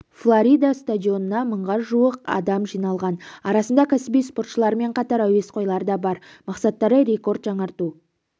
флорида стадионына мыңға жуық адам жиылған арасында кәсіби спортшылармен қатар әуесқойлар да бар мақсаттары рекорд жаңарту